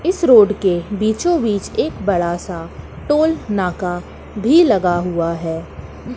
इस रोड के बीचो बीच एक बड़ा सा टोल नाका भी लगा हुआ है।